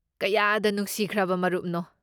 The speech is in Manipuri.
ꯀꯌꯥꯗ ꯅꯨꯡꯁꯤꯈ꯭ꯔꯕ ꯃꯔꯨꯞꯅꯣ꯫